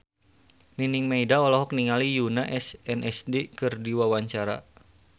Nining Meida olohok ningali Yoona SNSD keur diwawancara